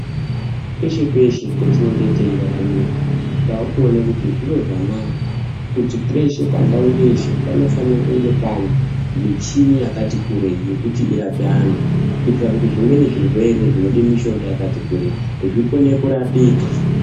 Peshe-peshe petinenge teiraramira takuona kuti zviro zvanaka kuti peshe pandau yeshe panofanira kunge pane michini yakati kurei yekuti irape vantu, kuitire kuti zvimweni zvirwere zvinode mishonga yakati kurei, zvikone kurapika.